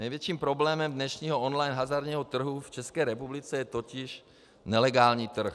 Největším problémem dnešního online hazardního trhu v České republice je totiž nelegální trh.